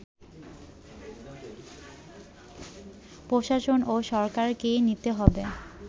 প্রশাসন ও সরকারকেই নিতে হবে